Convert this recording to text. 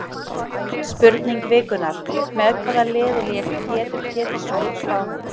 Spurning vikunnar: Með hvaða liði lék Pétur Pétursson á Spáni?